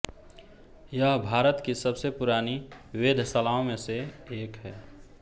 यह भारत की सबसे पुरानी वेधशालाओं में से एक है